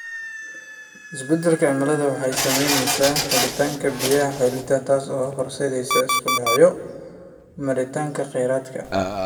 Isbeddelka cimiladu waxa ay saamaynaysaa helitaanka biyaha xilliyeed, taas oo horseedaysa isku dhacyada maaraynta khayraadka.